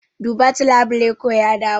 Duba ta labule ko ya dawo.